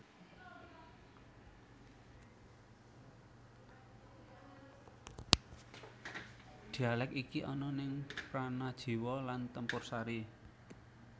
Dialek iki ana ning Pranajiwo lan Tempursari